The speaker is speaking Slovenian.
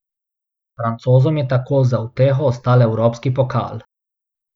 Francozom je tako za uteho ostal evropski pokal.